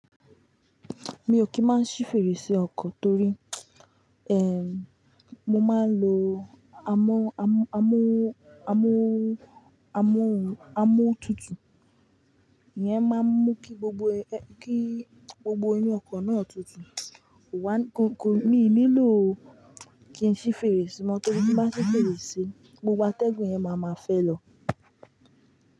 Mi ò kí máa ṣí fèrèsé ọkọ̀ torí, eh, mo máa ń lo amó, amó, amó, amó, amó tutù. Iyẹn máa ń mú kí gbogbo ẹ, kí gbogbo inú ọkọ̀ náà tutù. Wá, ko, ko, mi ò nílò kí n ṣí fèrèsé mọ́ torí tí bá ṣí fèrèsé, gbogbo atẹ́gùn yẹn máa ma fẹ́ lọ.